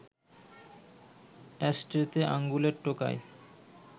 অ্যাশট্রেতে আঙুলের টোকায়